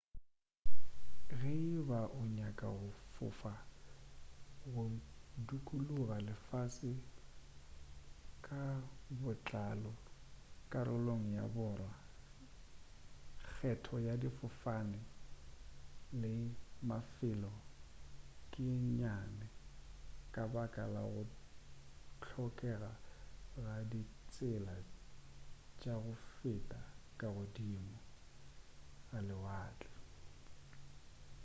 ge e ba o nyaka go fofa go dukuluga lefase ka botlalo karolong ya borwa kgetho ya difofane le mafelo ke ye nnyane ka baka la go hlokega ga ditsela tša go feta ka godimo ga lewatle